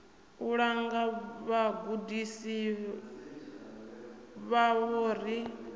u langa vhagudisi vhavho ri